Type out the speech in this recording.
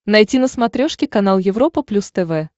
найти на смотрешке канал европа плюс тв